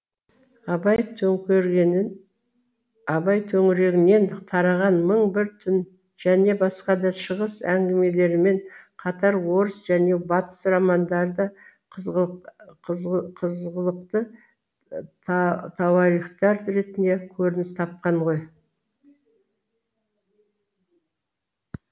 абай төңірегінен тараған мың бір түн және басқа да шығыс әңгімелерімен қатар орыс және батыс романдары да қызғылықты тауарихтар ретінде көрініс тапқан ғой